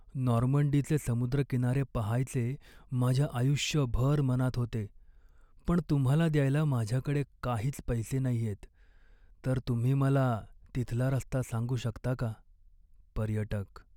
नॉर्मंडीचे समुद्रकिनारे पहायचे माझ्या आयुष्यभर मनात होते पण तुम्हाला द्यायला माझ्याकडे काहीच पैसे नाहीयेत, तर तुम्ही मला तिथला रस्ता सांगू शकता का? पर्यटक